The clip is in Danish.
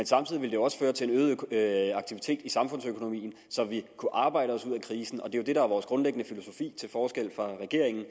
samtidig også føre til en øget aktivitet i samfundsøkonomien så vi kunne arbejde os ud af krisen det er jo det der er vores grundlæggende filosofi til forskel fra regeringen